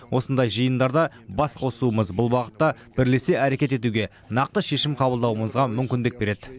осындай жиындарда бас қосуымыз бұл бағытта бірлесе әрекет етуге нақты шешім қабылдауымызға мүмкіндік береді